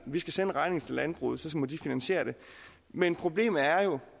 vi skal sende regningen til landbruget og så må de finansiere det men problemet er